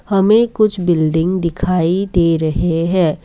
हमें कुछ बिल्डिंग दिखाई दे रहे है।